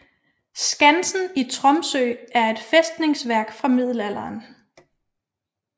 Skansen i Tromsø er et fæstningsværk fra middelalderen